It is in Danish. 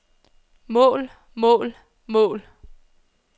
mål mål mål